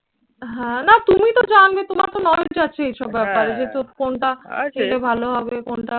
হ্যাঁ, না তুমি তো জানবে, তোমার তো knowledge আছে এইসব ব্যাপারে। যেহেতু কোনটা কোনটা ভালো হবে কোনটা?